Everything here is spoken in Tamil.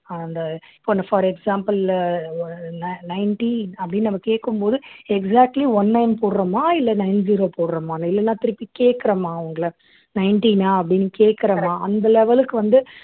அந்த for example உ nin nineteen நம்ம கேக்கும் போது exactly one nine போடுறோமா இல்லை nine zero போடுறோமான்னு இல்லைன்னா திருப்பி கேட்கிறோமா அவங்களை nineteen ஆ அப்படின்னு கேட்கிறமா அந்த level க்கு வந்து